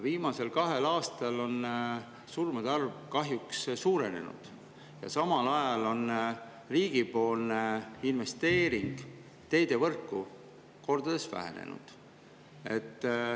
Viimasel kahel aastal on see arv kahjuks suurenenud ja samal ajal on riigi investeering teevõrku kordades vähenenud.